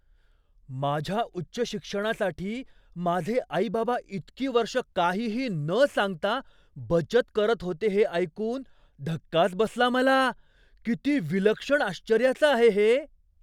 माझ्या उच्च शिक्षणासाठी माझे आई बाबा इतकी वर्ष काहीही न सांगता बचत करत होते हे ऐकून धक्काच बसला मला. किती विलक्षण आश्चर्याचं आहे हे!